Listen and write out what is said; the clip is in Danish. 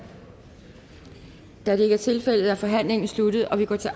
da det ikke er tilfældet er forhandlingen sluttet og vi går til